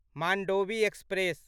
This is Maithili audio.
मान्डोवी एक्सप्रेस